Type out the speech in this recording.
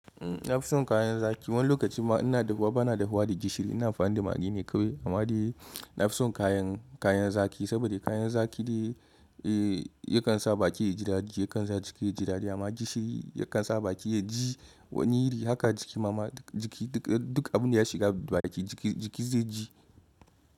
Na fi son kayan zaki. Wani lokacin ina dahuwa bana da huwa da gishiri, ina amfani da magi ne kawai amma dai na fi son kayan kayan zaki saboda kayan zaki dai eh yakan sa baki ya ji dadi, yakan sa jiki ya ji dadi amma gishiri yakan sa baki ya ji wani iri haka jiki ma duk jiki duk abin da ya shiga baki jiki jiki zai ji.